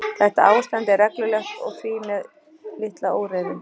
Þetta ástand er reglulegt og því með litla óreiðu.